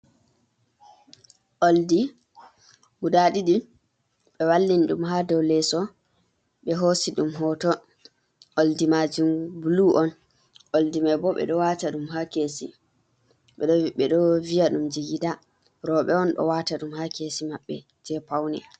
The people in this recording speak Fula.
Ɓoldi guda ɗiɗi ɓe wallini ɗum haa dow leso ɓe hosi ɗum hoto. Ɓoldi majun bulu on, ɓoldi mai bo ɓe o wata ɗum haa kesi ɓe ɗo ɓe ɗo viya ɗum jigida. Rowɓe on ɗo wata ɗum haa kesi maɓɓe je paune.